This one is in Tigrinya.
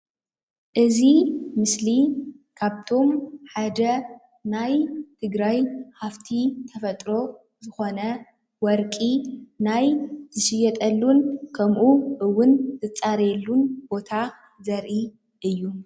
እዚ ምስሊ ካብቶም ሓደ ናይ ትግራይ ሃፍቲ ተፈጥሮ ዝኮነ ወርቂ ናይ ዝሽየጠሉን ከምኡ እውን ዝፃረየሉ ቦታ ዘርኢ እዩ፡፡